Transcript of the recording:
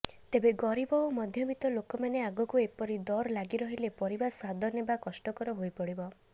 ତେବେ ଗରିବ ଓ ମଧ୍ୟବିତ୍ତ ଲୋକମାନେ ଆଗକୁ ଏପରି ଦର ଲାଗିରହିଲେ ପରିବା ସ୍ୱାଦ ନେବା କଷ୍ଟକର ହୋଇପଡିବ